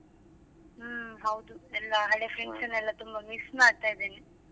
ಹ್ಮ್ ಹೌದು. ಎಲ್ಲಾ ಹಳೆ friends ನ್ನೆಲ್ಲ ತುಂಬಾ miss ಮಾಡ್ತಾಯಿದ್ದೇನೆ.